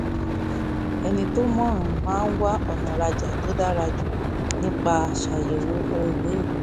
ẹni tó mọ̀ràn máa ń wá ọ̀nà rajà tó dára jù nípa ṣàyẹ̀wò ohun míì